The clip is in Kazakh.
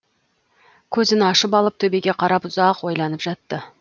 көзін ашып алып төбеге қарап ұзақ ойланып жатты